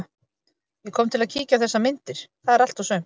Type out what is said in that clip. Ég kom til að kíkja á þessar myndir, það er allt og sumt.